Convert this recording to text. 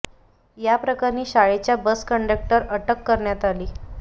या प्रकरणी शाळेच्या बस कंडक्टर अटक करण्यात आली आहे